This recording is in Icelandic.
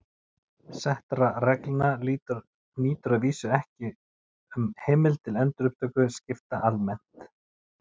Settra reglna nýtur að vísu ekki um heimild til endurupptöku skipta almennt.